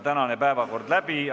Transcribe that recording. Tänane päevakord on läbi arutatud.